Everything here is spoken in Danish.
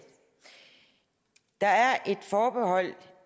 der er et forbehold